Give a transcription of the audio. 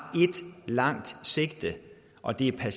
ét langt sigte og det er